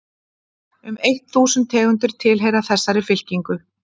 um eitt þúsund tegundir tilheyra þessari fylkingu